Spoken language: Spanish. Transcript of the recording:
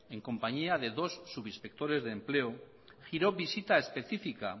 en compañía de dos subinspectores de empleo giró visita específica